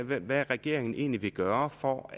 hvad regeringen egentlig vil gøre for